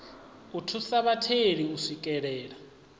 u thusa vhatheli u swikelela